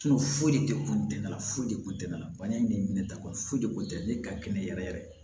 foyi de kun tɛ na foyi de kun tɛ la bana in bɛ minɛ ta kɔni foyi de kun tɛ ne ka kɛnɛ yɛrɛ yɛrɛ